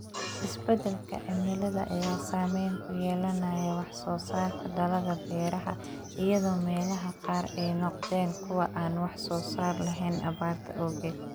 Isbadalka cimilada ayaa saameyn ku yeelanaya wax soo saarka dalagga beeraha, iyadoo meelaha qaar ay noqdeen kuwo aan wax soo saar lahayn abaarta awgeed.